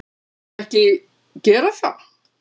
Myndi hún ekki gera það?